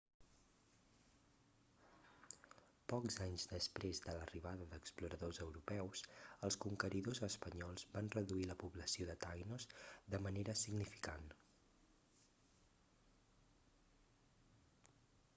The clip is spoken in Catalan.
pocs anys després de l'arribada d'exploradors europeus els conqueridors espanyols van reduir la població de taïnos de manera significant